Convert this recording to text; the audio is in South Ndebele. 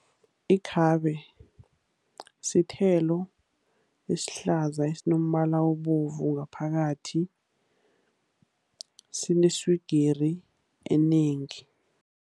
Ikhabe sithelo esihlaza esinombala obovu ngaphakathi, sineswigiri enengi.